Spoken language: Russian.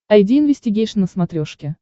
айди инвестигейшн на смотрешке